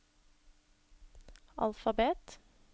alfabet